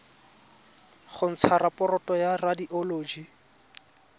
go ntsha raporoto ya radioloji